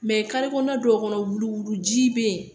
Mɛ kari kɔnɔna dɔw kɔnɔ wuluwulu ji bɛ yen